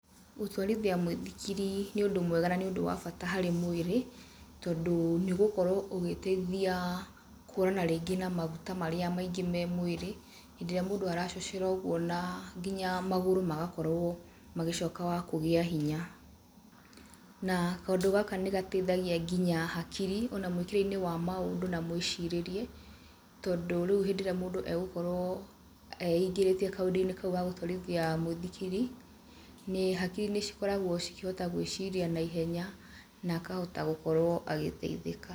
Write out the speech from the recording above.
Gũtwarithia mũithikiri nĩ ũndũ mwega na nĩ ũndũ wa bata harĩ mwĩrĩ, tondũ nĩ ũgũkorwo ũgĩteithia kũhũrana rĩngĩ na maguta marĩa maingĩ me mwĩrĩ, hĩndĩ ĩrĩa mũndũ aracocera ũguo na nginya magũrũ magakorwo magĩcoka wa kũgĩa hiya, na kaũndũ gaka nĩ gateithagia nginya hakiri, ona mwĩkĩre-inĩ wa maũndũ na mwĩcirĩrie, tondũ rĩu hĩndĩ ĩrĩa mũndũ egũkorwo eingĩrĩtie kaũndũ -inĩ kau gagũtwarithia mũithikiri, nĩ hakiri nĩ cikoragwo cikĩhote gwĩciria naihenhya, na akahota gũkorwo agĩteithĩka.